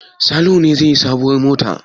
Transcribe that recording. Salihu ne zai yi sabuwar mota?